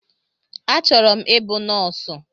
Achọrọ m ịbụ nọọsụ